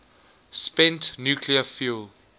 spent nuclear fuel